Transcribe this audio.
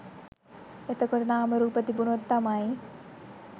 එතකොට නාමරූප තිබුණොත් තමයි